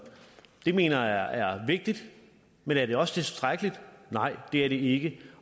mener jeg er vigtigt men er det også tilstrækkeligt nej det er det ikke